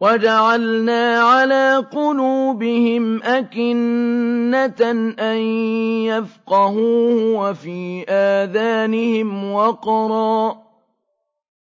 وَجَعَلْنَا عَلَىٰ قُلُوبِهِمْ أَكِنَّةً أَن يَفْقَهُوهُ وَفِي آذَانِهِمْ وَقْرًا ۚ